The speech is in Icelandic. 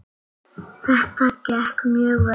Þetta gekk mjög vel.